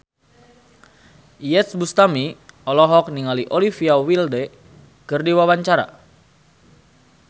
Iyeth Bustami olohok ningali Olivia Wilde keur diwawancara